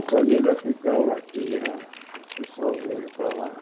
A família ficava aqui, ah fui sozinho para lá.